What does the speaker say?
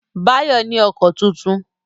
Báyọ̀ ní ọkọ tuntun